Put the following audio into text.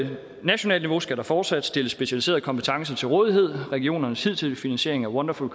nationalt niveau skal der fortsat stilles specialiseret kompetence til rådighed regionernes hidtidige finansiering af wonderful